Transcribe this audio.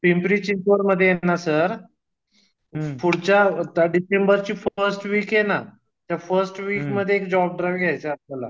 पिंपीरी चिंचवडमध्ये हे ना सर फूडच्या डिसेंबरची फर्स्ट वीक आहे ना त्या फर्स्ट वीक मध्ये एक जब ड्राईव्ह घ्याचा आहे आपल्याला